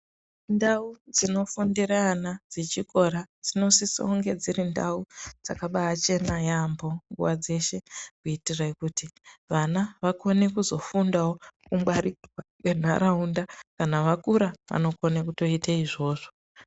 Ndau dzinofundire ana dzechikora dzinosiso kunge dziri ndau dzakabaachena yaambo nguva dzeshe kuitire kuti vana vakone kuzofundawo kungwarirwa kwenharaunda kana vakura vanokone kutoite izvozvo.